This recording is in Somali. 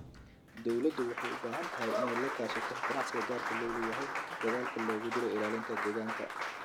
Dawladdu waxay u baahan tahay inay la kaashato ganacsiga gaarka loo leeyahay dadaalka loogu jiro ilaalinta deegaanka.